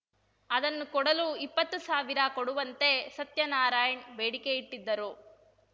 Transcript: ಅದನ್ನು ಕೊಡಲು ಇಪ್ಪತ್ತು ಸಾವಿರ ಕೊಡುವಂತೆ ಸತ್ಯನಾರಾಯಣ್‌ ಬೇಡಿಕೆ ಇಟ್ಟಿದ್ದರು